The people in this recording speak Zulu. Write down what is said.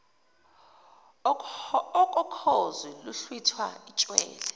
okokhozi luhlwitha itshwele